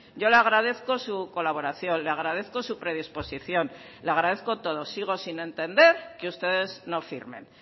yo le agradezco su colaboración le agradezco su predisposición le agradezco todo sigo sin entender que ustedes no firmen